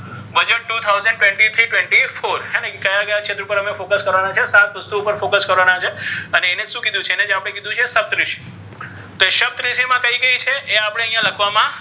two thousand twenty three-twenty four ક્યા ક્યા ક્ષેત્ર પર focus કરવાના છે સાત વસ્તુ ઉપર focus કરવાના છે અને એ ને શુ કિધુ છે એ ને જે આપણે કિધુ છે સપ્તઋષિ, સપ્તઋષિ મા કઇ કઇ છે એ આપણે લખવામાં,